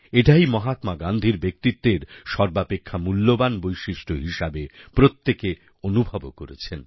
এটাই মহাত্মা গান্ধীর ব্যক্তিত্বের সর্বাপেক্ষা মূল্যবান বৈশিষ্ট্য হিসেবে প্রত্যেকে অনুভবও করেছেন